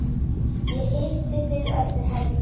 Ég hitti þig eftir helgi.